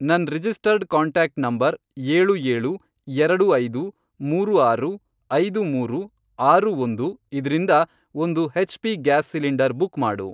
ನನ್ registered contact number, ಏಳು ಏಳು, ಎರಡು ಐದು, ಮೂರು ಆರು, ಐದು ಮೂರು, ಆರು ಒಂದು, ಇದ್ರಿಂದ ಒಂದು ಹೆಚ್.ಪಿ. ಗ್ಯಾಸ್ ಸಿಲಿಂಡರ್ ಬುಕ್ ಮಾಡು.